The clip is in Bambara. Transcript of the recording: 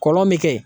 Kɔlɔn mi kɛ